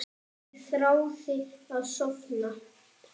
Ég þráði að sofna.